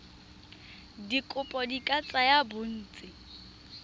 dikopo di ka tsaya bontsi